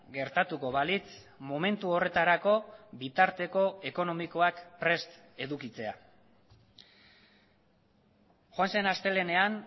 gertatuko balitz momentu horretarako bitarteko ekonomikoak prest edukitzea joan zen astelehenean